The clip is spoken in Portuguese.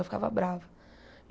Eu ficava brava.